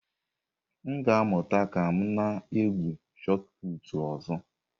M ga-amụta ka m na-egwu Shot Putụ̀ ọzọ.